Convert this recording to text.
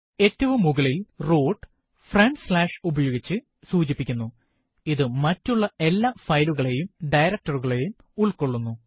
ഏറ്റവും മുകളിൽ root front slash ഉപയോഗിച്ച് സൂചിപ്പിക്കുന്നു ഇത് മറ്റുള്ള എല്ലാ ഫയലുകളെയും director കളെയും ഉള്ക്കൊള്ളുന്നു